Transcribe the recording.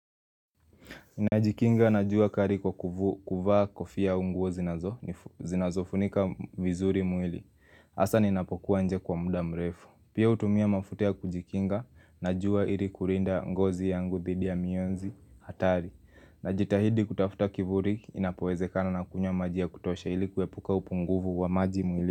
Najikinga na jua kari kwa kuvaa kofia au nguo zinazofunika vizuri mwili hasa ninapokuwa nje kwa muda mrefu Pia hutumia mafuta ya kujikinga na jua ili kurinda ngozi yangu dhidi ya mionzi hatari Najitahidi kutafuta kivuri inapowezekana na kunywa maji ya kutosha ili kuepuka upunguvu wa maji mwili.